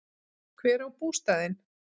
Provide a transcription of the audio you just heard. Hver á bústaðinn?